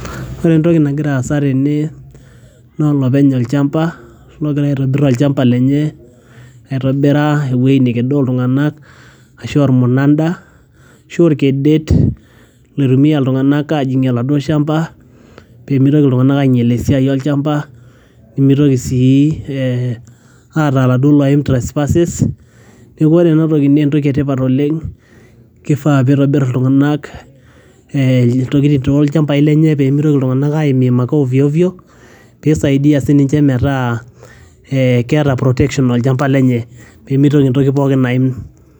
ore entoki nagira aasa tene, naa olopeny olchamba logira aitobirr olchamba lenye aitobira ewueji nekedoo iltung'anak ashu ormunanda ashu orkedet loitumia iltung'anak ajing'ie oladuo shamba pemitoki iltung'anak ainyiel esiai olchamba nimitoki sii eeh aata iladuo loim treespasses neku ore enatoki naa entoki etipat oleng kifaa pitobirr iltung'anak eeh, iltokitin tolchambai lenye pemitoki iltung'anak aimim ake ovyo ovyo pisaidia sininche metaa eeh keeta protection tolchamba lenye pemitoki entoki pookin aim.